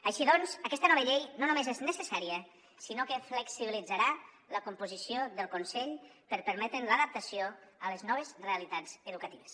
així doncs aquesta nova llei no només és necessària sinó que flexibilitzarà la composició del consell per permetre’n l’adaptació a les noves realitats educatives